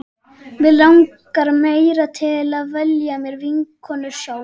Mig langaði meira til að velja mér vinkonur sjálf.